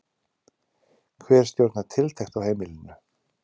Hver stjórnar tiltekt á heimilinu?